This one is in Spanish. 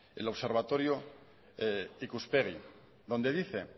el observatorio ikuspegi donde dice